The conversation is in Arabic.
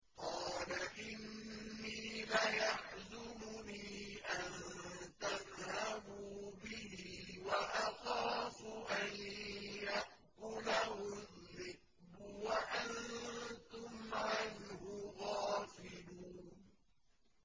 قَالَ إِنِّي لَيَحْزُنُنِي أَن تَذْهَبُوا بِهِ وَأَخَافُ أَن يَأْكُلَهُ الذِّئْبُ وَأَنتُمْ عَنْهُ غَافِلُونَ